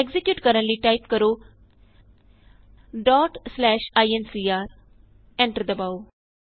execute ਕਰਨ ਲਈ type ਕਰੋ incr ਐਂਟਰ ਦਬਾਉ